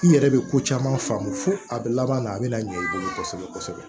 N yɛrɛ bɛ ko caman faamu fo a bɛ laban a bɛ na ɲɛ i bolo kosɛbɛ kosɛbɛ